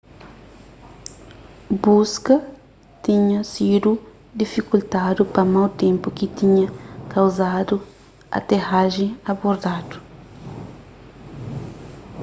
buska tinha sidu difikultadu pa mau ténpu ki tinha kauzadu aterajen abortadu